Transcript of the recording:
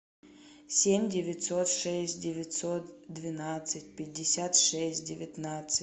семь девятьсот шесть девятьсот двенадцать пятьдесят шесть девятнадцать